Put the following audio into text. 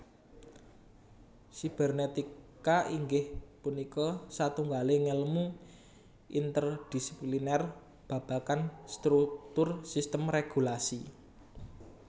Sibernetika inggih punika satunggaling ngèlmu interdisipliner babagan struktur sistem régulasi